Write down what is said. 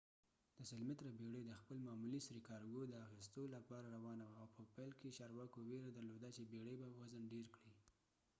د ۱۰۰ متره بيړي د خپل معمولي سرې کارګو د اخیستو لپاره روانه وه، او په پیل کې چارواکو ویره درلوده چې بيړي به وزن ډیر کړي